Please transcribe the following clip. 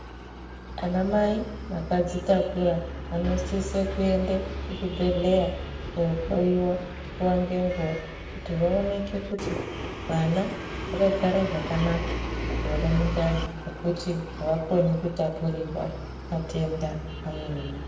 Anamai vakadzitakura vanosise kuende kuzvibhedhleya kohloiwa nguwa ngenguwa kuti vaoneke kuti vana vakagara zvakanaka here mundani nekuti ava koni kutapurirwa matenda amweni.